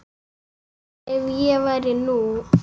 En ef ég væri nú.